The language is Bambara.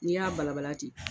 N'i y'a balabala ten.